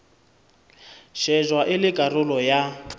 shejwa e le karolo ya